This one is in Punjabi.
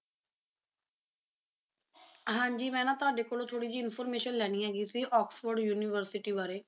ਹਾਜੀ ਮੈ ਨਾ ਤੁਹਾਡੀ ਕੋਲੋ ਥੋੜੀ ਜੀ ਇੰਫੋਰਮੇਸ਼ਨ ਲੈਨੀ ਸੀ ਓਕ੍ਸ੍ਫੋਰਡ ਯੂਨੀਵਰਸਿਟੀ ਬਾਰੇ